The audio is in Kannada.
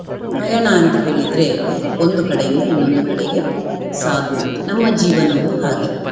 ಪಯಣ ಅಂತ ಹೇಳಿದ್ರೆ ಒಂದು ಕಡೆಯಿಂದ ಇನ್ನೊಂದು ಕಡೆಗೆ ಸಾಗುವುದು ನಮ್ಮ ಜೀವನವು ಹಾಗೇ